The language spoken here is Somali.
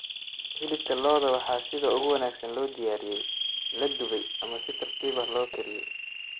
Hilibka lo'da waxaa sida ugu wanaagsan loo diyaariyey la dubay ama si tartiib ah loo kariyey.